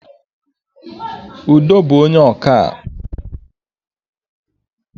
Udo bú onye ọkà